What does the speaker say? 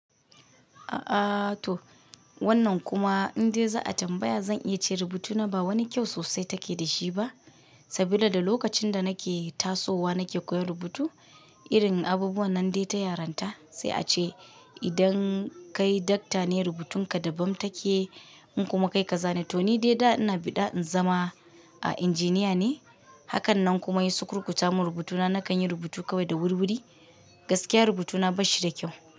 A'a to wannan kuma in dai za a tambaya, zan iya ce rubutuna ba wani kyau sosai take da shi ba, sabida da lokacin da nake tasowa nake koyan rubutu, irin abubuwan nan dai ta yaranta. Sai a ce idan kai Doctor ne rubutun ka daban take, in kuma kai kaza ne, to ni dai da ina bi da in zama a Engineer ne. Hakannan kuma ya sukurkuta mun rubutuna nakan yi rubutu kawai da wurwuri, gaskiya rubutuna bai shi da kyau.